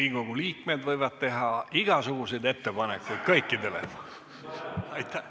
Riigikogu liikmed võivad teha igasuguseid ettepanekuid kõikidele.